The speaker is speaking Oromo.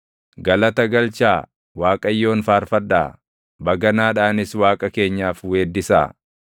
Galata galchaa Waaqayyoon faarfadhaa; baganaadhaanis Waaqa keenyaaf weeddisaa.